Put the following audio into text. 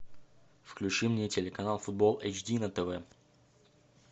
включи мне телеканал футбол эйч ди на тв